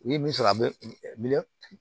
U ye min sɔrɔ a bɛ